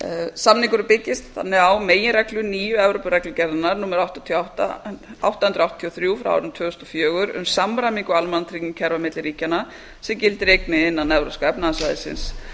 samningurinn byggist þannig á meginreglu nýju evrópureglugerðarinnar númer átta hundruð áttatíu og þrjú tvö þúsund og fjögur um samræmingu almannatryggingakerfa milli ríkjanna sem gildir einnig innan evrópska efnahagssvæðisins